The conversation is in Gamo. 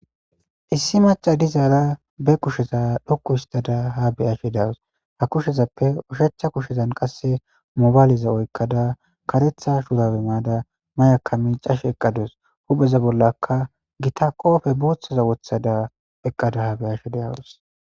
Issi macca dazara be kushe dhoqqu histada ha bea'she dawus. Ha kushezape ushacha kushezan qasse mobaleza oykada karetha shurabe mayada nayyaka miccashe eqadus. Hupheza bollaka gitta qophe wottada eqada ha bea'she dawuss.